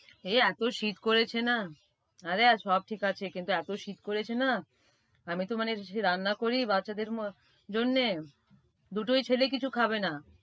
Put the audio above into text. এই এত শীত করেছে না, আরে আর সব ঠিক আছে, কিন্তু এত শীত করেছে না, আমিতো মানে রান্না করি বাচ্চাদের জন্যে দুটো ছেলেই কিছু খাবে না।